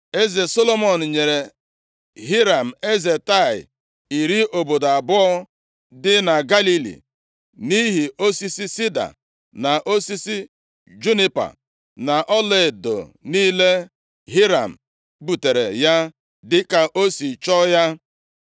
Eze Solomọn nyere Hiram, eze Taịa, iri obodo abụọ dị na Galili, nʼihi osisi sida, na osisi junipa, na ọlaedo niile Hiram butere ya dịka o si chọọ ya.